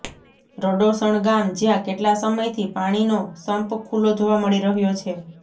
રડોસણ ગામ જ્યાં કેટલા સમયથી પાણીનો સંપ ખુલ્લો જોવા મળી રહ્યો છે